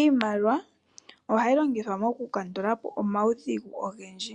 Iimaliwa ohayi longithwa mokulandulapo omaudhigu ogendji,